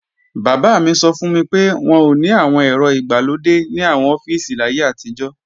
Bàbá mi sọ fún mi pé, wọn ò ní àwọn ẹ̀rọ ìgbàlódé ní àwọn ọ́fíìsì láyé àtijọ́